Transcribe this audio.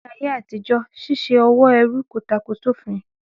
Ní ayé àtíjọ́, ṣíṣe òwò ẹrú kò tako òfin.